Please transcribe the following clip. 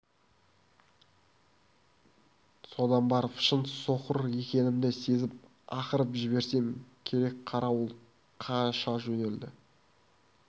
содан барып шын соқыр екенімді сезіп ақырып жіберсем керек қарауыл қаша жөнелді